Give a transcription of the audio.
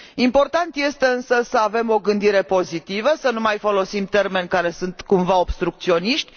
Important este, însă, să avem o gândire pozitivă, să nu mai folosim termeni care sunt cumva obstrucționiști.